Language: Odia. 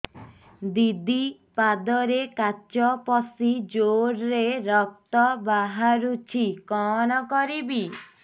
ଦିଦି ପାଦରେ କାଚ ପଶି ଜୋରରେ ରକ୍ତ ବାହାରୁଛି କଣ କରିଵି